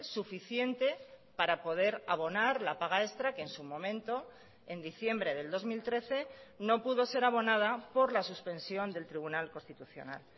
suficiente para poder abonar la paga extra que en su momento en diciembre del dos mil trece no pudo ser abonada por la suspensión del tribunal constitucional